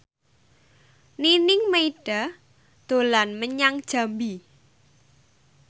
Nining Meida dolan menyang Jambi